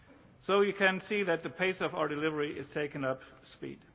So you can see that the pace of our delivery has taken up speed.